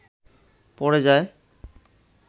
পড়ে যায়